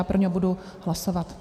Já pro něj budu hlasovat.